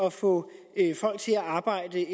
at få folk til at arbejde